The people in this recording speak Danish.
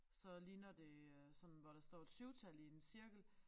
Så ligner det øh sådan hvor der står et syvtal i en cirkel